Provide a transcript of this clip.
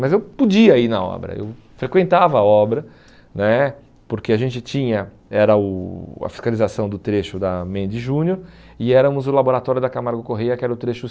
Mas eu podia ir na obra, eu frequentava a obra né, porque a gente tinha, era o a fiscalização do trecho da Mendes Júnior e éramos o laboratório da Camargo Correia, que era o trecho